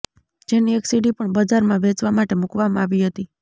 જેની એક સીડી પણ બજારમાં વેચવા માટે મુકવામાં આવી હતી